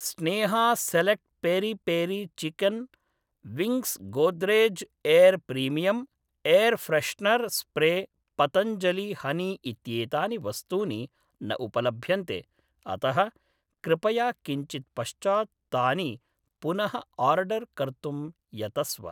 Sneha select peri peri chicken wings Godrej air premium air freshener spray Patanjali honey इत्येतानि वस्तूनि न उपलभ्यन्ते अतः कृपया किञ्चिद् पश्चात् तानि पुनःआर्डर् कर्तुं यतस्व